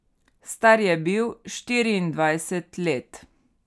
Star je bil štiriindvajset let.